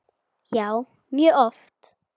Já, mjög oft.